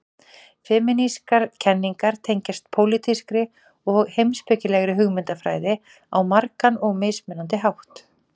Femínískar kenningar tengjast pólitískri og heimspekilegri hugmyndafræði á margan og mismunandi hátt.